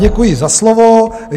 Děkuji za slovo.